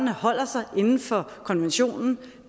holder sig inden for konventionen